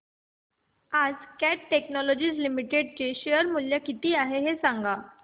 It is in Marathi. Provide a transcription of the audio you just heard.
आज कॅट टेक्नोलॉजीज लिमिटेड चे शेअर चे मूल्य किती आहे सांगा